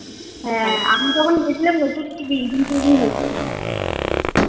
হ্যাঁ আমি যখন গেছিলাম